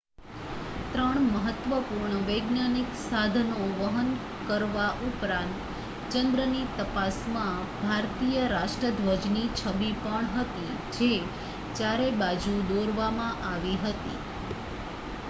3 મહત્વપૂર્ણ વૈજ્ઞાનિક સાધનો વહન કરવા ઉપરાંત ચંદ્રની તપાસમાં ભારતીય રાષ્ટ્રધ્વજની છબી પણ હતી જે ચારે બાજુ દોરવામાં આવી હતી